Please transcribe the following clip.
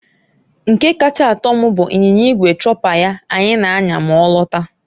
Nke kacha atọ m bụ anyinya igwe chopper ya anyị na- anya ma ọ lata.